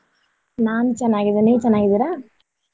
ನಾನ್ ಚೆನ್ನಾಗಿದ್ದೇನೆ ನೀವ್ ಚೆನ್ನಾಗಿದ್ದೀರಾ?